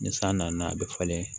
Ni san nana a bɛ falen